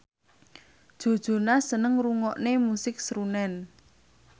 Joe Jonas seneng ngrungokne musik srunen